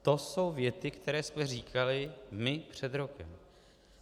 To jsou věty, které jsme říkali my před rokem.